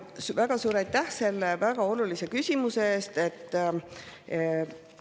Väga suur aitäh selle väga olulise küsimuse eest!